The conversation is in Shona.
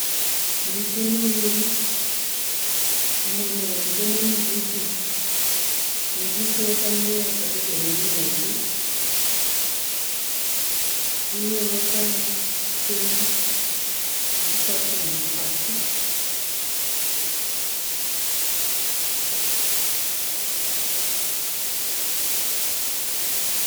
Miti muviri mumwe muhombe nemudiki. Mudiki wakamera padhuze nemuhombe, uye wakatemwa uchikwaturwa makwati.